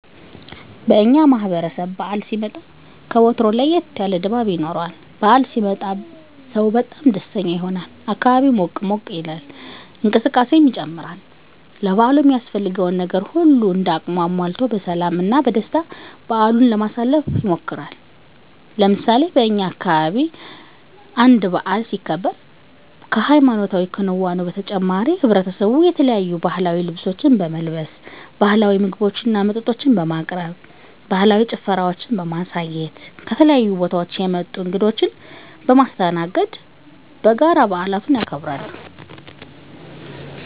በእኛ ማህበረሰብ በዓል ሲመጣ ከወትሮው ለየት ያለ ድባብ ይኖረዋል። በዓል ሲመጣ ሰው በጣም ደስተኛ ይሆናል፣ አካባቢው ሞቅ ሞቅ ይላል፣ እንቅስቃሴ ይጨምራል፣ ለበዓሉ የሚያስፈልገውን ነገር ሁሉም እንደ አቅሙ አሟልቶ በሰላም እና በደስታ በዓሉን ለማሳለፍ ይሞክራል። ለምሳሌ በእኛ አካባቢ አንድ በዓል ሲከበር ከሀይማኖታዊ ክንዋኔው በተጨማሪ ማሕበረሰቡ የተለያዩ ባህላዊ ልብሶችን በመልበስ፣ ባህላዊ ምግቦችና መጠጦችን በማቅረብ፣ ባህላዊ ጭፈራዎችን በማሳየት፣ ከተለያዩ ቦታወች የመጡ እንግዶችን በማስተናገድ በጋራ በዓሉን ያከብራሉ።